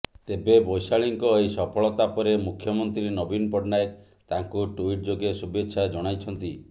ତେବେ ବୈଶାଳୀଙ୍କ ଏହି ସଫଳତା ପରେ ମୁଖ୍ୟମନ୍ତ୍ରୀ ନବୀନ ପଟ୍ଟନାୟକ ତାଙ୍କୁ ଟ୍ୱିଟ୍ ଯୋଗେ ଶୁଭେଚ୍ଛା ଜଣାଇଛନ୍ତି